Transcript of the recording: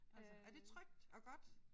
Altså er det trygt og godt?